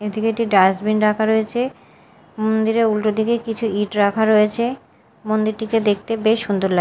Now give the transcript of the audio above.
এদিকে একটি ডাস্টবিন রাখা রয়েছে মন্দিরের উল্টো দিকে কিছু ইট রাখা রয়েছে মন্দিরটিকে দেখতে বেশ সুন্দর লা--